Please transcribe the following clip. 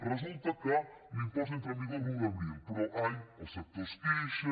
resulta que l’impost entra en vigor l’un d’abril però ai el sector es queixa